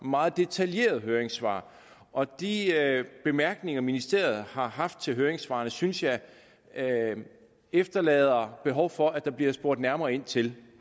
meget detaljerede høringssvar og de bemærkninger ministeriet har haft til høringssvarene synes jeg efterlader behov for at der bliver spurgt nærmere ind til